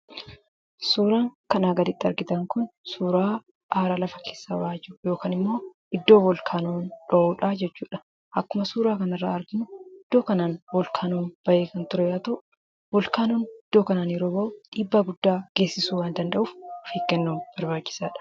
Suuraan kanaa gaditti argitan kun suuraa aara lafa keessaa ba'aa jiru yookaan immoo iddoo volkaanoon dho'uu dha jechuudha. Akkuma suuraa kana irraa arginu iddoo kanaan volkaanoon ba'ee kan ture yoo ta'u, volkaanoon iddoo kanaan yeroo ba'u dhiibbaa guddaa geessisuu waan danda'uuf of eeggannoon barbaachisaa dha.